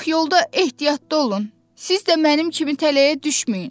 Ancaq yolda ehtiyatlı olun, siz də mənim kimi tələyə düşməyin.